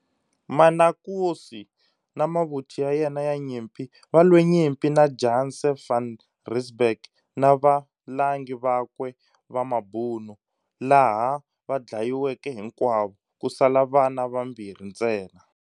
Manukosi, na mavuthu ya yena ya nyimpi valwe nyimpi na Janse van Rensburg na va valangi vakwe va mabhunu, laha vadlayiweke hikwavo, kusala vana vambirhi ntsena.